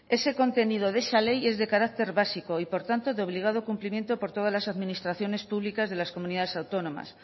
ese contenido de esa ley es de carácter básico y por tanto de obligado cumplimiento por todas las administraciones públicas de las comunidades autónomas